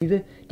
DR P1